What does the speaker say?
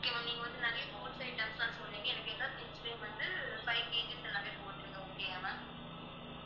okay ma'am நீங்க நிறைய fruits items லாம் சொன்னிங்க. எனக்கு எல்லா fruits லேயும் வந்து five KG எல்லாமே போட்டுருங்க. okay யா ma'am